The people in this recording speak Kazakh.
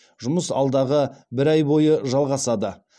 жұмыс алдағы бір ай бойы жалғасады